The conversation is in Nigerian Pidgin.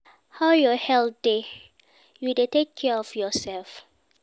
How your health dey, you dey take care of yourself?